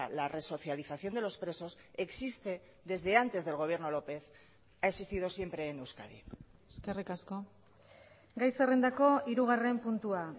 la resocialización de los presos existe desde antes del gobierno lópez ha existido siempre en euskadi eskerrik asko gai zerrendako hirugarren puntua